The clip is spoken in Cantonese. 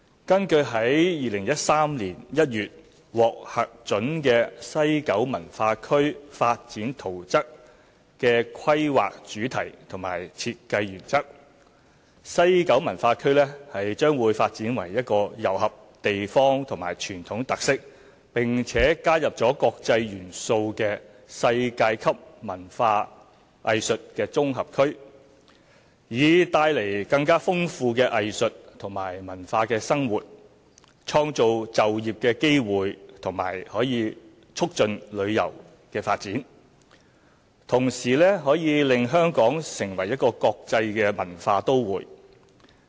根據2013年1月獲核准的西九文化區發展圖則的規劃主題與設計原則，西九文化區將發展為一個糅合地方與傳統特色，並且加入國際元素的世界級文化藝術綜合區，以帶來更豐富的藝術和文化生活，創造就業機會並促進旅遊的發展，同時可以令香港成為國際文化都會。